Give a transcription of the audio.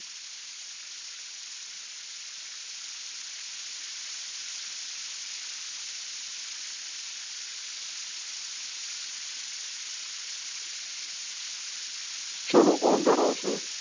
ચાલો કોણ જણાવશે